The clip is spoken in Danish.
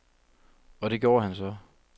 Og det gjorde han så.